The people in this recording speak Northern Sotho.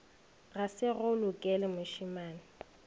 ga se go lokele mošemane